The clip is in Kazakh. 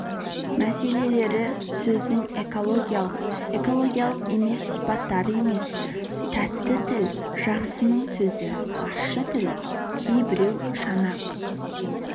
мәселелері сөздің экологиялық экологиялық емес сипаттары емес тәтті тіл жақсының сөзі ащы тіл кейбіреу жанақ